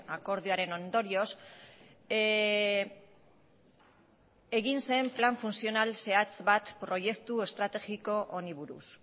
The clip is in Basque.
akordioaren ondorioz egin zen plan funtzional zehatz bat proiektu estrategiko honi buruz